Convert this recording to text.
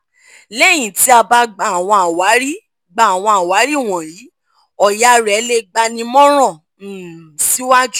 lẹ́yìn ti a bá gba àwọn àwárí gba àwọn àwárí wọ̀nyí òyàá rẹ le gbanímọ̀ràn um siwajú